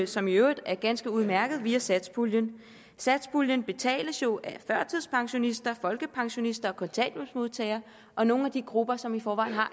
som i øvrigt er ganske udmærket via satspuljen satspuljen betales jo af førtidspensionister folkepensionister kontanthjælpsmodtagere og nogle af de grupper som i forvejen har